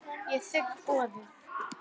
Ég þigg boðið.